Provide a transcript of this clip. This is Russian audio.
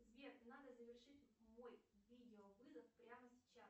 сбер надо завершить мой видеовызов прямо сейчас